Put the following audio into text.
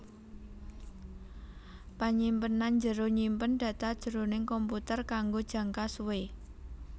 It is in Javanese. Panyimpenan njero nyimpen data jroning komputer kanggo jangka suwé